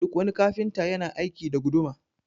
Duk wani Kafinta yana aiki da guduma